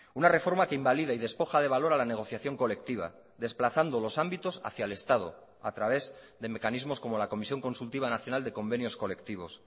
una reforma que invalida y despoja de valor a la negociación colectiva desplazando los ámbitos hacia el estado a través de mecanismos como la comisión consultiva nacional de convenios colectivos